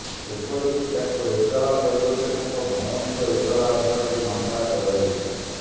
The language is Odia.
ଏପରିକି ତାଙ୍କ ଏତଲା ପରିବର୍ତ୍ତେ ତାଙ୍କ ଭଉଣୀଙ୍କ ଏତଲା ଆଧାରରେ ମାମଲା କରାଯାଇଛି